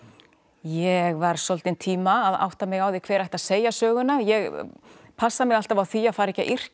ég var svolítinn tíma að átta mig á því hver ætti að segja söguna ég passa mig alltaf á því að fara ekki að yrkja